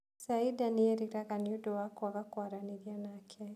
Saida nĩ eeriraga nĩ ũndũ wa kwaga kwaranĩria nake.